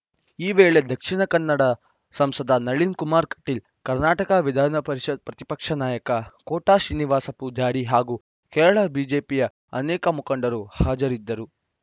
ಈ ವೇಳೆ ದಕ್ಷಿಣ ಕನ್ನಡ ಸಂಸದ ನಳಿನ್‌ ಕುಮಾರ್‌ ಕಟೀಲ್‌ ಕರ್ನಾಟಕ ವಿಧಾನ ಪರಿಷತ್‌ ಪ್ರತಿಪಕ್ಷ ನಾಯಕ ಕೋಟ ಶ್ರೀನಿವಾಸ ಪೂಜಾರಿ ಹಾಗೂ ಕೇರಳ ಬಿಜೆಪಿಯ ಅನೇಕ ಮುಖಂಡರು ಹಾಜರಿದ್ದರು